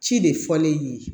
Ci de fɔlen ye